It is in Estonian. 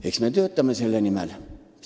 Eks me töötame selle nimel.